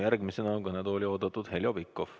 Järgmisena on kõnetooli oodatud Heljo Pikhof.